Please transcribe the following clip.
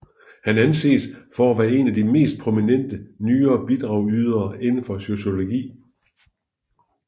Han anses for at være en af de mest prominente nyere bidragydere inden for sociologi